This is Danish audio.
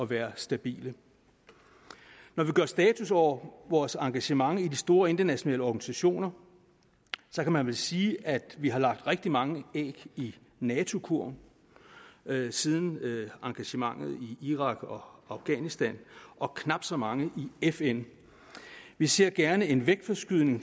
være stabile når vi gør status over vores engagement i de store internationale organisationer kan man vel sige at vi har lagt rigtig mange æg i nato kurven siden engagementet i irak og afghanistan og knap så mange i fn vi ser gerne en vægtforskydning